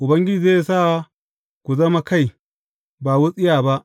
Ubangiji zai sa ku zama kai, ba wutsiya ba.